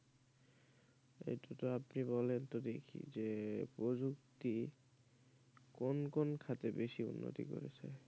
আচ্ছা আপনি বলেন তো দেখি প্রযুক্তি কোন কোন খাতে বেশি উন্নতি করেছে?